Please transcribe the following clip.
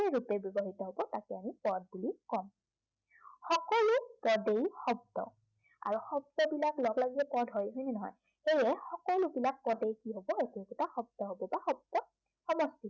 ৰূপে ব্য়ৱহৃত হব তাকে আমি পদ বুলি কও। সকলো পদেই শব্দ। আৰু শব্দবিলাক লগলাগিয়েই পদ হয়, হয়নে নহয়? সেইয়ে সকলোবিলাক পদেই কি হব, একো একোটা শব্দ হব বা শব্দৰ সমষ্টি